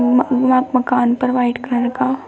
मका मकान पर व्हाइट कलर का--